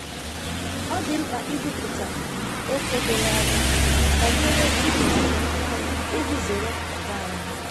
Ọ dị mkpa ikwupụta ókè doro anya banyere ibelata ọnụahịa iji zere ọgba aghara.